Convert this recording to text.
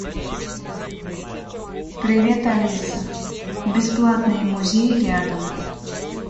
привет алиса бесплатные музеи рядом